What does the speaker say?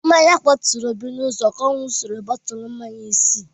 Mmanya kwaturu Obi n'ụzọ ka ọ ṅụsịrị bọtụlụ mmanya isi.